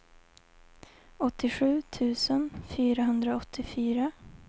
åttiosju tusen fyrahundraåttiofyra